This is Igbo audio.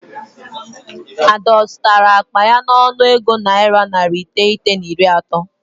Ada ọ zụtara akpa ya n'ọnụego naira narị iteghete na iri atọ?